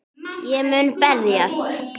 Ég mun berjast